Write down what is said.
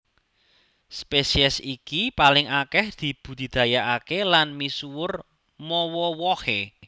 Spesies iki paling akèh dibudidayakaké lan misuwur mawa wohé